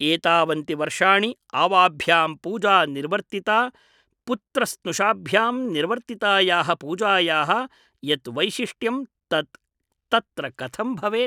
एतावन्ति वर्षाणि आवाभ्यां पूजा निर्वर्तिता पुत्रस्नुषाभ्यां निर्वर्तितायाः पूजायाः यत् वैशिष्ट्यं तत् तत्र कथं भवेत् ?